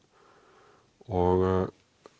og